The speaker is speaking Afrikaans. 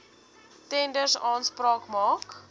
tenders aanspraak maak